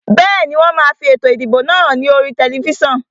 Bẹ́ẹ̀ni, wón máa fi ètò ìdìbò náà hàn ní oríi tẹlifísàn